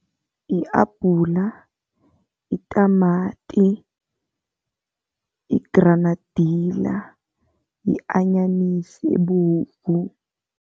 Yi-abhula, itamati, yigranadila, yi-anyanisi ebovu.